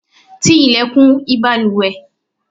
tí ilẹ̀kùn ìbalùwẹ̀!